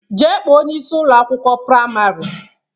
Jee kpọọ onyeisi Ụlọ akwụkwọ praịmarị!